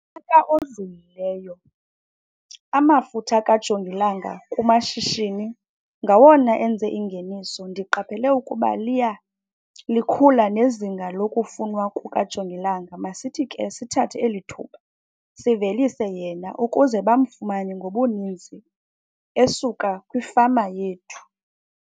Odlulileyo amafutha kajongilanga kumashishini ngawona enze ingeniso, ndiqaphele ukuba liya likhula nezinga lokufunwa kukajongilanga. Masithi ke sithathe eli thuba sivelise yena ukuze bamfumane ngobuninzi esuka kwifama yethu.